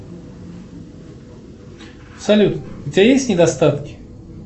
салют у тебя есть недостатки